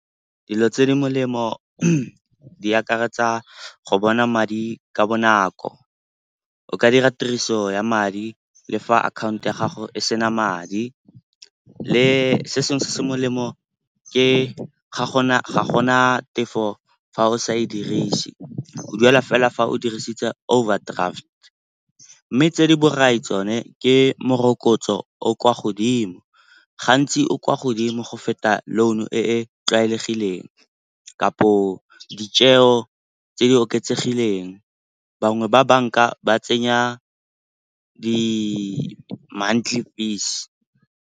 Dilo tse di molemo di akaretsa go bona madi ka bonako, o ka dira tiriso ya madi le fa akhaonto ya gago e sena madi. Se sengwe se se molemo ke ga gona tefo fa o sa e dirise, o duela fela fa o dirisitse overdraft. Mme tse di borai tsone ke morokotso o o kwa godimo, gantsi o kwa godimo go feta loan-o e e tlwaelegileng kapo tse di oketsegileng. Bangwe ba banka ba tsenya di-monthly fees.